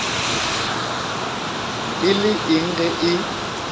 e le eng ge e